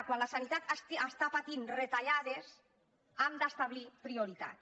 quan la sanitat està patint retallades hem d’establir prioritats